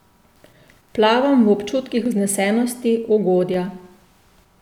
Plavam v občutkih vznesenosti, ugodja.